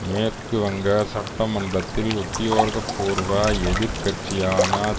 மேற்கு வங்க சட்டமன்றத்தில் உத்தியோக பூர்வ எதிர் கட்சியான